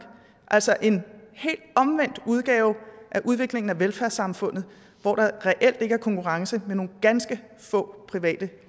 altså en helt omvendt udgave af udviklingen af velfærdssamfundet hvor der reelt ikke er konkurrence og med nogle ganske få private